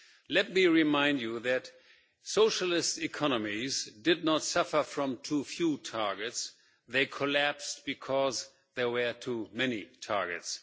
Let me remind you that socialist economies did not suffer from too few targets, they collapsed because there were too many targets.